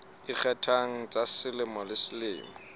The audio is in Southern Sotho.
ikgethang tsa selemo le selemo